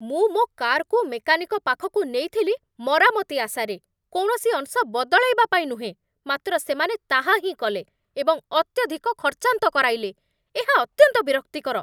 ମୁଁ ମୋ କାର୍‌କୁ ମେକାନିକ ପାଖକୁ ନେଇଥିଲି ମରାମତି ଆଶାରେ, କୌଣସି ଅଂଶ ବଦଳାଇବା ପାଇଁ ନୁହେଁ, ମାତ୍ର ସେମାନେ ତାହା ହିଁ କଲେ ଏବଂ ଅତ୍ୟଧିକ ଖର୍ଚ୍ଚାନ୍ତ କରାଇଲେ! ଏହା ଅତ୍ୟନ୍ତ ବିରକ୍ତିକର ।